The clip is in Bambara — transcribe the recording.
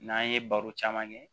N'an ye baro caman kɛ